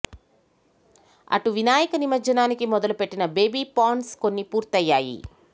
అటు వినాయక నిమజ్జనానికి మొదలు పెట్టిన బేబీ పాండ్స్ కొన్ని పూర్తయ్యాయి